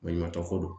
Baɲumankɛ ko don